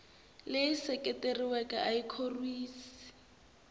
leyi seketeriweke a yi khorwisi